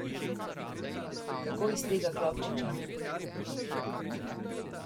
Kako iz tega klobčiča?